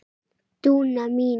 Dúna mín.